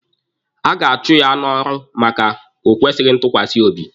A ga-achụ ya n'ọrụ maka o kwesịghị ntukwasi obi.